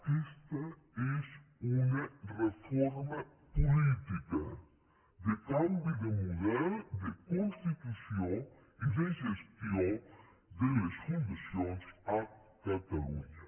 aquesta és una reforma política de canvi de model de constitució i de gestió de les fundacions a catalunya